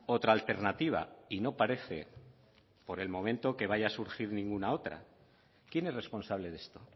otra alternativa y no parece por el momento que vaya a surgir ninguna otra quién es responsable de esto